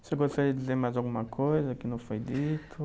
Você gostaria de dizer mais alguma coisa que não foi dito?